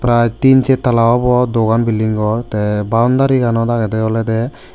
ar tin chet tala obo dogan building gor tey boundary ganot agedey olodey.